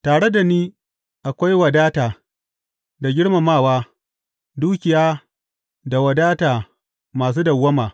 Tare da ni akwai wadata da girmamawa, dukiya da wadata masu dawwama.